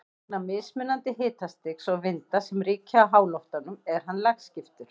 Vegna mismunandi hitastigs og vinda sem ríkja í háloftunum er hann lagskiptur.